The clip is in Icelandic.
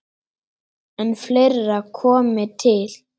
En fleira komi til.